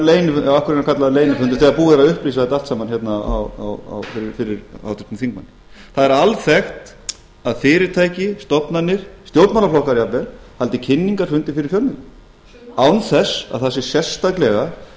leynifundur þegar búið er að upplýsa þetta allt saman hérna fyrir háttvirtum þingmanni það er alþekkt að fyrirtæki stofnanir stjórnmálaflokkar jafnvel haldi kynningarfundi fyrir fjölmiðla án þess að það sé sérstaklega verið